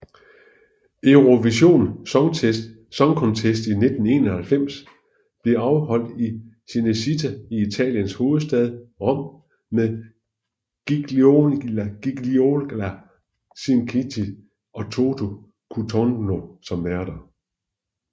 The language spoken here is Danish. Eurovision Song Contest 1991 blev afholdt i Cinecittà i Italiens hovedstad Rom med Gigliola Cinquetti og Toto Cutugno som værter